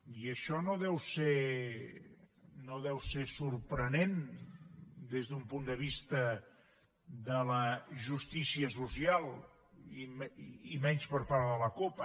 i això no deu ser sorprenent des d’un punt de vista de la justícia social i menys per part de la cup